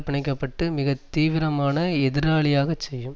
பிணைக்கப்பட்டு மிக தீவிரமான எதிராளியாக செய்யும்